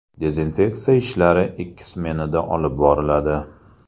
Dezinfeksiya ishlari ikki smenada olib boriladi.